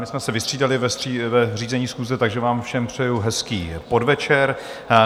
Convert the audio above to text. My jsme se vystřídali v řízení schůze, takže vám všem přeji hezký podvečer.